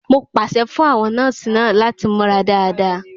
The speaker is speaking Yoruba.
Mo pàṣẹ fún àwọn nọ́ọ̀sì náà láti múra dáadáa.